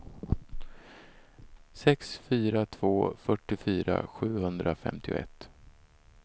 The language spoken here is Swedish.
sex fyra två två fyrtiofyra sjuhundrafemtioett